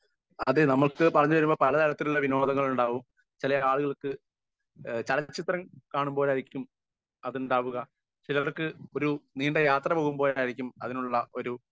speaker 1